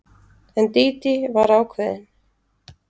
En Dídí var ákveðin.